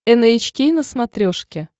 эн эйч кей на смотрешке